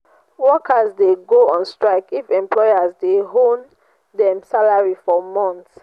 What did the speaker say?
workers de go on strike if employers de owe dem salary for months